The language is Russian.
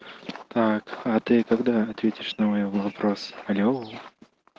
так а ты когда ответишь на мой вопрос алло